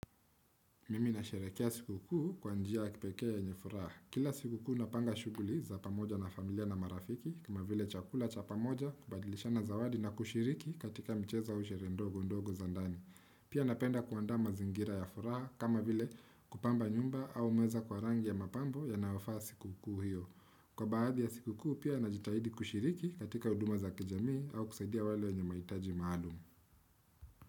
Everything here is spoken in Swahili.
Mimi na sherehekea siku kuu kwa njia ya kipekee yenye furaha. Kila siku kuu napanga shughuli za pamoja na familia na marafiki kama vile chakula cha pamoja kubadilishana zawadi na kushiriki katika mchezo au sherehe ndogo ndogo za ndani. Pia napenda kuandaa mazingira ya furaha kama vile kupamba nyumba au meza kwa rangi ya mapambo yanayofaa siku kuu hiyo. Kwa baadhi ya siku kuu pia najitahidi kushiriki katika huduma za kijamii au kusaidia wale wenye mahitaji maalumu.